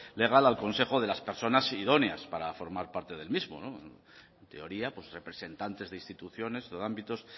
legal al consejo de las personas idóneas para formar parte del mismo no en teoría pues representantes de instituciones o de ámbitos